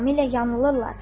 tamamilə yanılırlar.